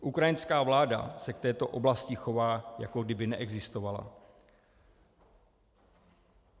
Ukrajinská vláda se k této oblasti chová jako kdyby neexistovala.